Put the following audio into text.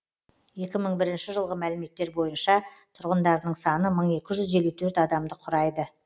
екі мың бірінші жылғы мәліметтер бойынша тұрғындарының саны мың екі жүз елу төрт адамды құрайды